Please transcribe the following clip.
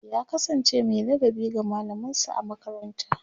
ya kasance Mai ladabi ga mallaman sa a makaranta